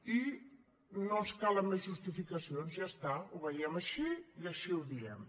i no ens calen més justificacions ja està ho veiem així i així ho diem